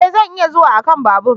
E! Zan iya zuwa a kan babur.